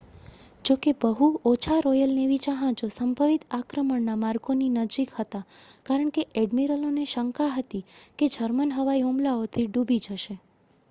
જોકે બહુ ઓછા રૉયલ નેવી જહાજો સંભવિત આક્રમણના માર્ગોની નજીક હતાં કારણ કે ઍડ્મિરલોને શંકા હતી કે તે જર્મન હવાઈ હુમલાઓથી ડૂબી જશે